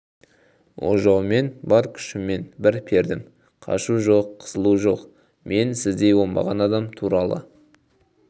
ожаумен бар күшіммен бір пердім қашу жоқ қысылу жоқ мен лі сіздей оңбаған адам туралы